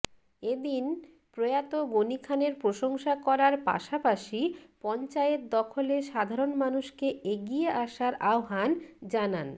এ দিন প্রয়াত গনিখানের প্রশংসা করার পাশাপাশি পঞ্চায়েত দখলে সাধারণ মানুষকে এগিয়ে আসার আহ্বান জানান